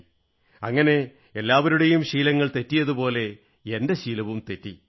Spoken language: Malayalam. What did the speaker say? അങ്ങനെ എല്ലാവരുടെയും ശീലങ്ങൾ ചീത്തയായതുപോലെ എന്റെ ശീലവും ചീത്തയായി